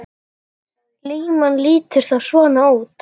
Línan lítur þá svona út